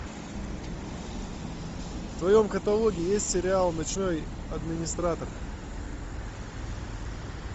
в твоем каталоге есть сериал ночной администратор